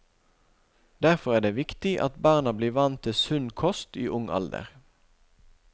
Derfor er det viktig at barna blir vant til sund kost i ung alder.